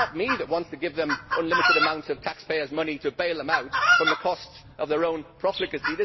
It is not me who wants to give them unlimited amounts of taxpayers' money to bail them out from the costs of their own profligacy.